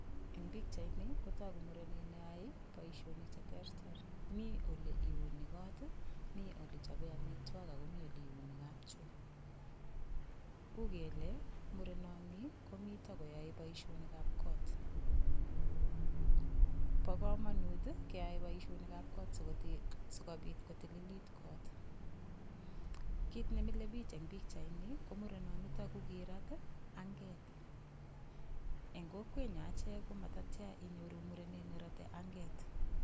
Eng' pikchaini kotoku murenet neyoei boishonik cheterter mi ole iuni koot mi ole chopei omitwok akomi ole iuni kapchoo uu kele murenoni komito koyoei boishonikab kot bo komonut keyoei boishonikab kot sikobit kotililit kot kit nemilei biich eng' pikchaini ko murenonito ko kirat anget eng' kokwenyo ache komatatya inyoru muren nerotei anget